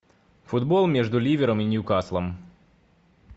футбол между ливером и ньюкаслом